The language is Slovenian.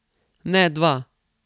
Ne dva.